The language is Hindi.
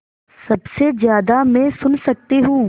सबसे ज़्यादा मैं सुन सकती हूँ